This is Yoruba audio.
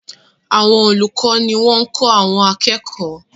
Àwọn olùkọ́ ní wọ́n ń kọ́ àwọn akẹ́kọ̀ọ́.